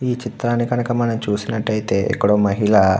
ఈ చిత్రాన్ని మనం చూసినట్టు అయితే ఇక్కడ ఒక మహిళ --